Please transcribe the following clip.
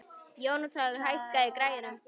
Jónatan, hækkaðu í græjunum.